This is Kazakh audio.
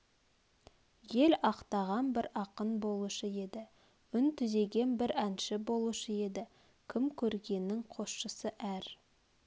ел ақтаған бір ақын болушы еді үн түзеген бір әнші болушы еді кім көрінгеннің қосшысы әр